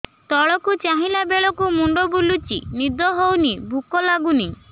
ତଳକୁ ଚାହିଁଲା ବେଳକୁ ମୁଣ୍ଡ ବୁଲୁଚି ନିଦ ହଉନି ଭୁକ ଲାଗୁନି